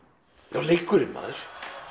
já leikurinn maður